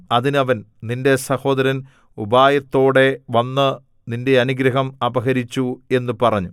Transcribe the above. അതിന് അവൻ നിന്റെ സഹോദരൻ ഉപായത്തോടെ വന്നു നിന്റെ അനുഗ്രഹം അപഹരിച്ചു എന്നു പറഞ്ഞു